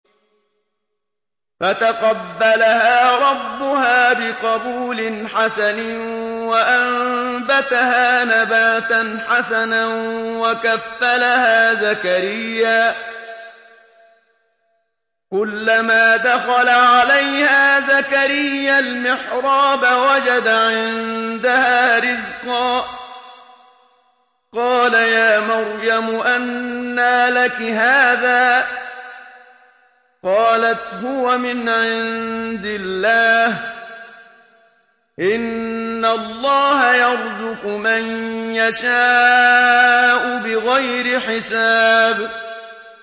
فَتَقَبَّلَهَا رَبُّهَا بِقَبُولٍ حَسَنٍ وَأَنبَتَهَا نَبَاتًا حَسَنًا وَكَفَّلَهَا زَكَرِيَّا ۖ كُلَّمَا دَخَلَ عَلَيْهَا زَكَرِيَّا الْمِحْرَابَ وَجَدَ عِندَهَا رِزْقًا ۖ قَالَ يَا مَرْيَمُ أَنَّىٰ لَكِ هَٰذَا ۖ قَالَتْ هُوَ مِنْ عِندِ اللَّهِ ۖ إِنَّ اللَّهَ يَرْزُقُ مَن يَشَاءُ بِغَيْرِ حِسَابٍ